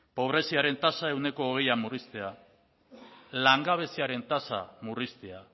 pobreziaren tasa ehuneko hogeian murriztea langabeziaren tasa murriztea